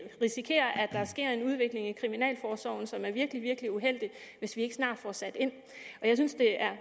risikerer at der sker en udvikling i kriminalforsorgen som er virkelig virkelig uheldig hvis vi ikke snart får sat ind jeg synes det er